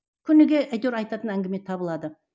күніге әйтеуір айтатын әңгіме табылады